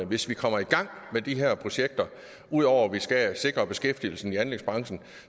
hvis vi kommer i gang med de her projekter ud over at vi skal sikre beskæftigelsen i anlægsbranchen